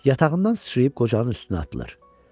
Yatağından sıçrayıb qocanın üstünə atılır.